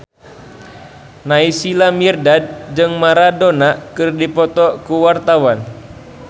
Naysila Mirdad jeung Maradona keur dipoto ku wartawan